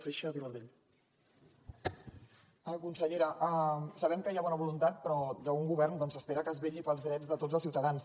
consellera sabem que hi ha bona voluntat però d’un govern s’espera que es vetlli pels drets de tots els ciutadans